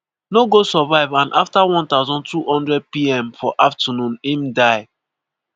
no go survive and afta 12:00pm for afternoon im die.